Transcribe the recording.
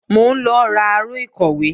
Mò ń lọ ra aró ìkọ̀wé